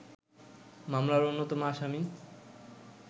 মামলার অন্যতম আসামি